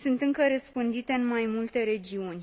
sunt încă răspândite în mai multe regiuni.